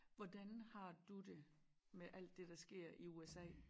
Hvordan har du det med alt det der sker i USA